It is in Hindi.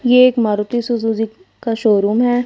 ये एक मारुती सुजुजी का शोरूम हैं।